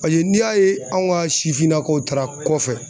Paseke n'i y'a ye anw ka sifinnakaw taara kɔfɛ.